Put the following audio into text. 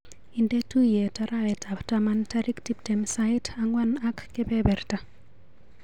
Indee tuiyet arawetap taman tarik tuptem sait ang'wanak kebeberta.